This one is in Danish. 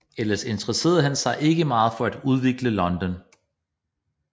Ellers interesserede han sig ikke meget for at udvikle London